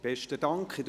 Besten Dank.